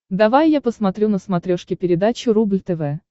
давай я посмотрю на смотрешке передачу рубль тв